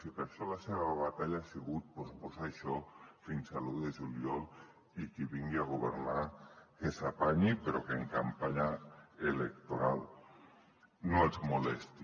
i per això la seva batalla ha sigut posposar això fins a l’un de juliol i qui vingui a governar que s’apanyi però que en campanya electoral no els molesti